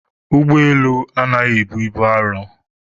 Ụgbọelu anaghị ebu ibu arọ